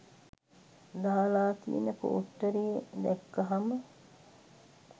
දාලා තියෙන පෝස්ටරේ දැක්කහම